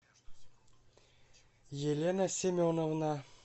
елена семеновна